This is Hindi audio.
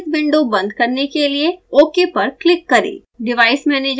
properties विंडो बंद करने के लिए ok पर क्लिक करें